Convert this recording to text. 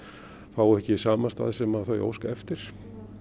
fá ekki samastað sem þau óska eftir